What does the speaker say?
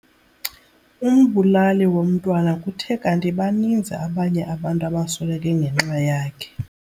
Umbulali womntwana kuthe kanti baninzi abanye abantu abasweleke ngenxa yakhe.